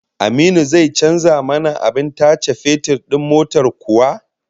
Aminu zai canza mana abin tace fetur din motar kuwa?